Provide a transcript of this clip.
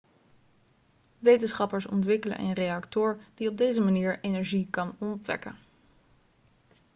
wetenschappers ontwikkelen een reactor die op deze manier energie kan opwekken